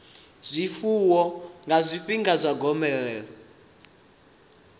zwifuwo nga zwifhinga zwa gomelelo